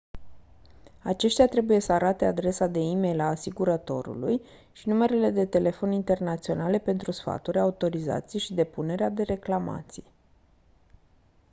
aceștia trebuie să arate adresa de e-mail a asigurătorului și numerele de telefon internaționale pentru sfaturi/autorizații și depunerea de reclamații